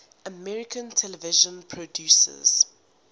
american television producers